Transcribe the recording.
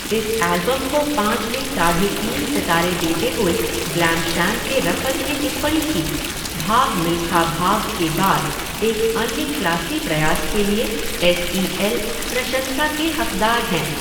इस एल्बम को पाँच में साढ़े तीन सितारे देते हुए ग्लैमशैम के रफ़त ने टिप्पणी की, भाग मिल्खा भाग के बाद एक अन्य क्लासी प्रयास के लिए एस ई एल प्रशंसा के हक़दार हैं।